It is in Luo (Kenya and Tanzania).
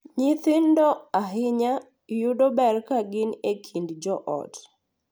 Nyithindo, ahinya, yudo ber ka gin e kind joot .